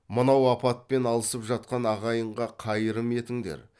мынау апатпен алысып жатқан ағайынға қайырым етіңдер